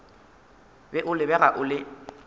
be o lebega o le